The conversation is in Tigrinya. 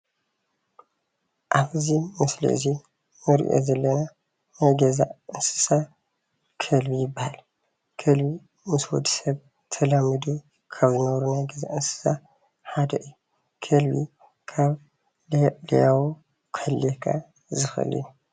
ኣብዚ ምስሊ አዚ ንሪኦ ዘለና ናይ ገዛ አንስሳ ከልቢ ይበሃል። ከልቢ ምስ ወዲ ሰብ ተላሚዱ ካብ ዝነብሩ ናይ ገዛ አንስሳ ሓደ አዩ። ከልቢ ካብ ለያቡ ክሕልየካ ዝኽእል እዩ።